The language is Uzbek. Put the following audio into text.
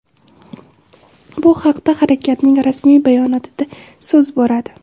Bu haqda harakatning rasmiy bayonotida so‘z boradi.